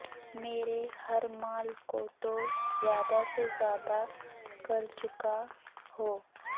میرے ہر مال کو تو زیادہ سے زیادہ کرچکا ہو